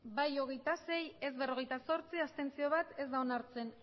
hamabost bai hogeita sei ez berrogeita zortzi abstentzioak bat ez da onartzen